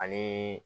Ani